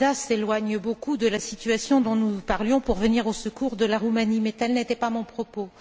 Preda s'éloigne beaucoup de la situation dont nous parlions pour venir au secours de la Roumanie, mais tel n'était pas mon propos.